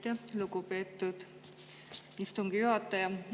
Aitäh, lugupeetud istungi juhataja!